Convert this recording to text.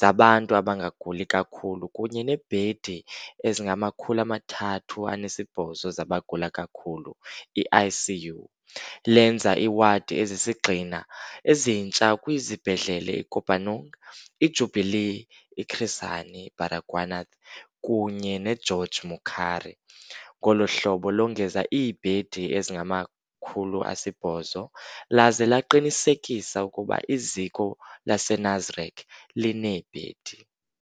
zabantu abangaguli kakhulu kunye neebhedi ezingama-308 zabagula kakhulu, i-ICU, lenza iiwadi ezisisigxina ezintsha kwizibhedlele i-Kopanong, i-Jubilee, i-Chris Hani Baragwanath kunye ne-George Mukhari, ngolo hlobo longeza iibhedi ezingama-800, laze laqinisekisa ukuba iziko lase-Nasrec lineebhedi.